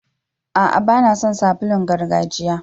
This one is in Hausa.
Aa, ba na son sabulun gargajiya.